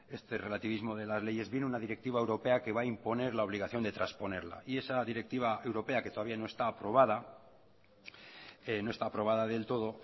este relativismo de la leyes viene una directiva europea que va a imponer la obligación de transponerla esa directiva europea que todavía no está aprobada del todo